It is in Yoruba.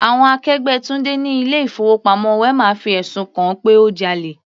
Àwọn akẹgbẹ́ Tunde ni ilé ìfowópamọ́ wema fi ẹ̀sùn kan-an pé ó jalè.